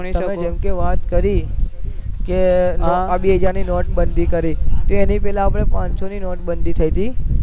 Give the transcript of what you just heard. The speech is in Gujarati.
તમે જેમકે વાત કરી આ બે હજાર નોટ બાંધી કરી એના પેહલા આપડે પાંચ સૌ ની નોટ બાંધી થઇ હતી